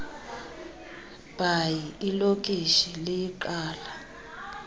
bhayi ilokishi liyiqala